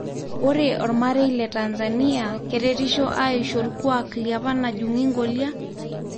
Ore omarei le Tanzania keretito aishu orkuak liapa najungi nkolia?